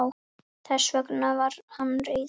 Þess vegna var hann reiður.